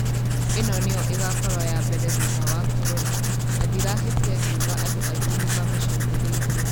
ĩno nĩyo ĩgakorwo ya mbere thutha wa korona na ndirahĩtia ngiuga andu aingĩ nĩ mamĩcuthĩrĩirie.